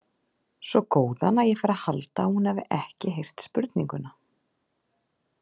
Svo góðan að ég fer að halda að hún hafi ekki heyrt spurninguna.